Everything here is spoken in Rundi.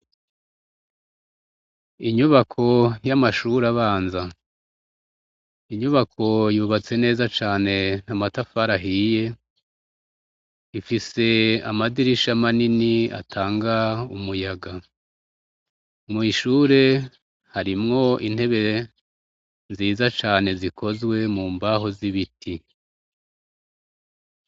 Inyubako y'amashure abanza, inyubako yubatse neza cane n'amatafari ahiye, ifise amadirisha manini atanga umuyaga, mu ishure harimwo intebe nziza cane zikozwe mu mbaho z'ibiti.